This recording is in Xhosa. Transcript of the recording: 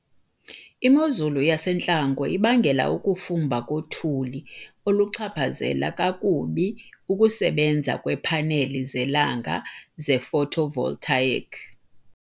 Imozulu yasentlango ibangela ukufumba kothuli, oluchaphazela kakubi ukusebenza kweepaneli zelanga ze-photovoltaic.